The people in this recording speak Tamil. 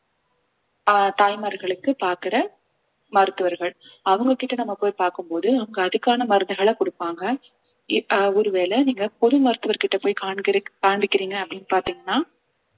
ஆஹ் தாய்மார்களுக்கு பார்க்கிற மருத்துவர்கள் அவங்க கிட்ட நம்ம போய் பார்க்கும் போது அவங்க அதுக்கான மருந்துகளை கொடுப்பாங்க இப்~ ஆஹ் ஒருவேளை நீங்க பொது மருத்துவர்கிட்ட போய் காண்பி~காண்பிக்கிறீங்க அப்படின்னு பார்த்தீங்கன்னா